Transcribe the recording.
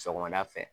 Sɔgɔmada fɛ